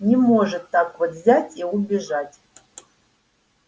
не может так вот взять и убежать